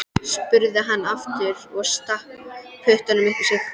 spurði hann aftur og stakk puttanum upp í sig.